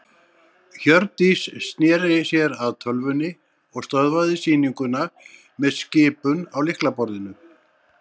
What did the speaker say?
Hjördís sneri sér að tölvunni og stöðvaði sýninguna með skipun á lyklaborðinu.